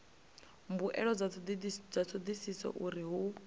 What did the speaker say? mbuelo dza thodisiso uri hu